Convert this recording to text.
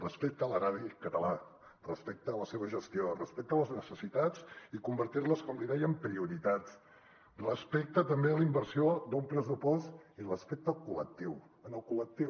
respecte a l’erari català respecte a la seva gestió respecte a les necessitats i convertir les com li deia en prioritats respecte també a la inversió d’un pressupost i respecte al col·lectiu al col·lectiu